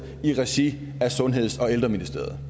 i regi af sundheds og ældreministeriet